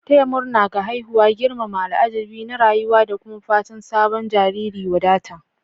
Taya murna ga haihuwa girmama al'ajabi na rayuwa da kuma fatan sabon jariri wadata.